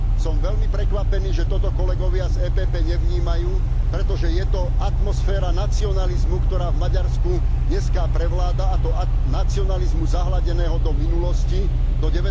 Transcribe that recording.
Som veľmi prekvapený, že toto kolegovia z EPP nevnímajú, pretože je to atmosféra nacionalizmu, ktorá v Maďarsku dneska prevláda, a to nacionalizmu zahľadeného do minulosti, do